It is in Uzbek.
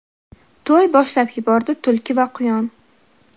To‘y boshlab yubordi tulki va quyon.